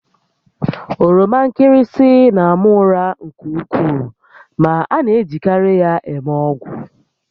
Oroma nkịrịsị na-ama ụra nke ukwuu ma a na-ejikarị ya eme ọgwụ